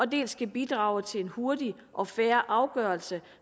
dels kan bidrage til en hurtig og fair afgørelse